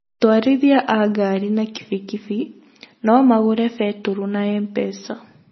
Atwarithia a ngari na kibikibi no magũre betũrũ na MPESA